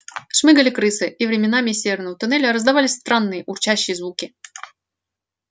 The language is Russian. шмыгали крысы и временами из северного туннеля раздавались странные урчащие звуки